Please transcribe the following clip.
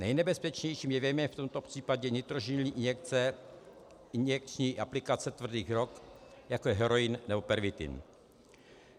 Nejnebezpečnějším jevem je v tomto případě nitrožilní injekce, injekční aplikace tvrdých drog, jako je heroin nebo pervitin.